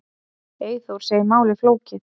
Eyþór segir málið flókið.